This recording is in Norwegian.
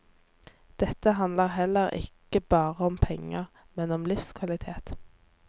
Dette handler heller ikke bare om penger, men om livskvalitet.